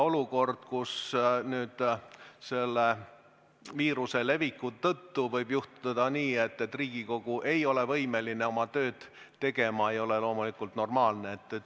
Olukord, kus selle viiruse leviku tõttu võib juhtuda nii, et Riigikogu ei ole võimeline oma tööd tegema, ei ole loomulikult normaalne.